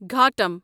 گھاٹم